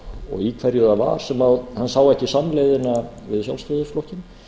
og í hverju það var sem hann sá ekki samleiðina við sjálfstæðisflokkinn